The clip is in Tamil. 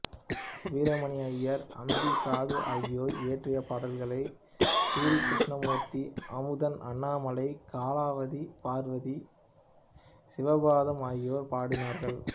வீரமணி ஐயர் அம்பி சாது ஆகியோர் இயற்றிய பாடல்களை சிறீகிருஷ்ணமூர்த்தி அமுதன் அண்ணாமலை கலாவதி பார்வதி சிவபாதம் ஆகியோர் பாடினார்கள்